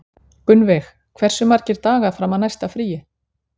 Gunnveig, hversu margir dagar fram að næsta fríi?